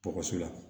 Dɔgɔso la